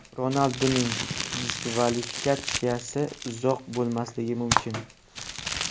Ronalduning diskvalifikatsiyasi uzoq bo‘lmasligi mumkin.